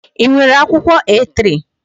Ị nwere akwụkwọ A3?